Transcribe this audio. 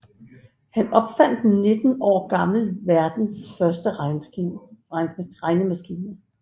Han opfandt 19 år gammel verdens første regnemaskine